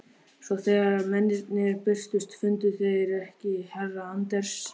Svo þegar mennirnir birtust fundu þeir ekki herra Anders